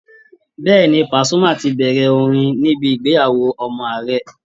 Bẹ́ẹ̀ ni, Pàsúmà tibẹ̀rẹ̀ orin níbi ìgbéyàwó ọmọ ààrẹ